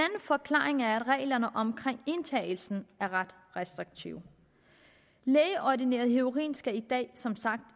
forklaring er at reglerne omkring indtagelsen er ret restriktive lægeordineret heroin skal som sagt